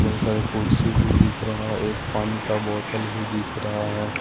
बहुत सारे कुर्सी भी दिख रहा है एक पानी का बोतल भी दिख रहा है।